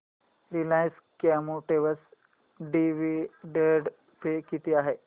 Reliance Chemotex dividend pay किती आहे